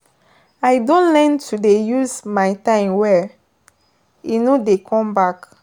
I don learn to dey use my time well, e no dey come back.